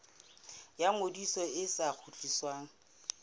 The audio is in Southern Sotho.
ya ngodiso e sa kgutlisweng